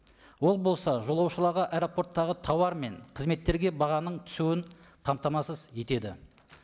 ол болса жолаушыларға аэропорттағы тауар мен қызметтерге бағаның түсуін қамтамасыз етеді